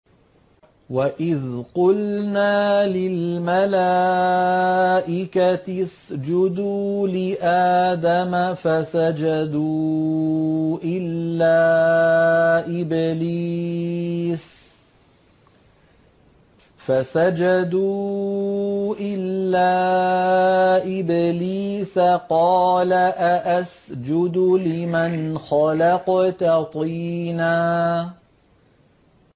وَإِذْ قُلْنَا لِلْمَلَائِكَةِ اسْجُدُوا لِآدَمَ فَسَجَدُوا إِلَّا إِبْلِيسَ قَالَ أَأَسْجُدُ لِمَنْ خَلَقْتَ طِينًا